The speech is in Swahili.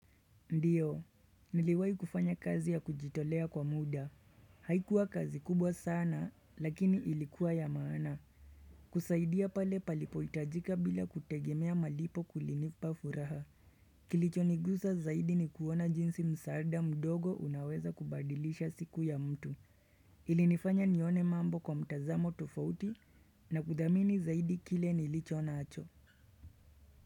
Ndiyo, niliwai kufanya kazi ya kujitolea kwa muda. Haikuwa kazi kubwa sana, lakini ilikuwa ya maana. Kusaidia pale palipoitajika bila kutegemea malipo kulinipa furaha. Kilichonigusa zaidi ni kuona jinsi msaada mdogo unaweza kubadilisha siku ya mtu. Ilinifanya nione mambo kwa mtazamo tofauti na kudhamini zaidi kile nilichonacho.